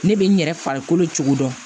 Ne bɛ n yɛrɛ farikolo cogo dɔn